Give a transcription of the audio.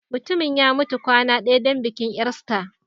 Mutumin ya mutu kwana ɗaya don bikin Easter